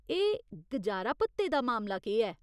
एह् गुजारा भत्ते दा मामला केह् ऐ?